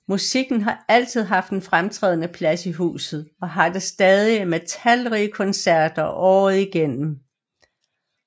Musikken har altid haft en fremtrædende plads i huset og har det stadig med talrige koncerter året igennem